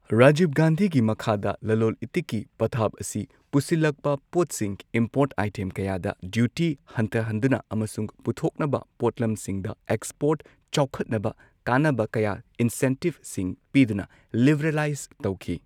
ꯔꯥꯖꯤꯚ ꯒꯥꯟꯙꯤꯒꯤ ꯃꯈꯥꯗ ꯂꯂꯣꯜ ꯏꯇꯤꯛꯀꯤ ꯄꯊꯥꯞ ꯑꯁꯤ ꯄꯨꯁꯤꯜꯂꯛꯄ ꯄꯣꯠꯁꯤꯡ ꯏꯝꯄꯣꯔꯠ ꯑꯥꯏꯇꯦꯝ ꯀꯌꯥꯗ ꯗ꯭ꯌꯨꯇꯤ ꯍꯟꯊꯍꯟꯗꯨꯅ ꯑꯃꯁꯨꯡ ꯄꯨꯊꯣꯛꯅꯕ ꯄꯣꯠꯂꯝꯁꯤꯡꯗ ꯑꯦꯛꯁꯄꯣꯔꯠ ꯆꯥꯎꯈꯠꯅꯕ ꯀꯥꯟꯅꯕ ꯀꯌꯥ ꯏꯟꯁꯦꯟꯇꯤꯚꯁꯤꯡ ꯄꯤꯗꯨꯅ ꯂꯤꯕꯔꯦꯂꯥꯢꯖ ꯇꯧꯈꯤ꯫